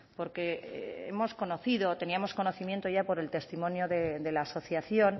porque hemos conocido teníamos conocimiento ya por el testimonio de la asociación